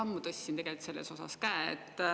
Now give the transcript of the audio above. Ma tegelikult juba ammu tõstsin käe.